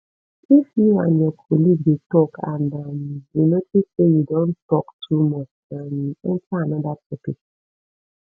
if you and your colleague dey talk and um you notice say you don talk too much um enter another topic